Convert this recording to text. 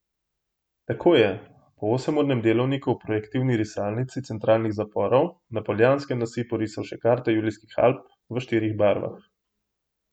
Tako je po osem urnem delovniku v projektivni risalnici centralnih zaporov na Poljanskem nasipu risal še karto Julijskih Alp v štirih barvah.